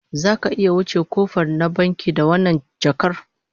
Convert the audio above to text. Zaka iya wuce kofar kwkwaf na bankin da wannan jakar?